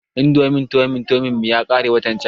Indomin tomi tomin mu yakare watan can